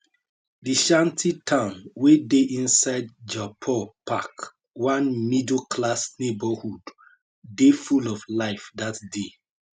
di shantytown wey dey inside jodhpur park one middleclass neighbourhood dey full of life dat day